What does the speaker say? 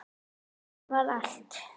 Svona var allt.